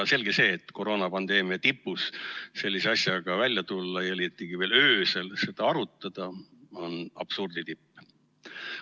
Selge see, et koroonapandeemia tipus sellise asjaga välja tulla ja liiatigi veel öösel seda arutada on absurdi tipp.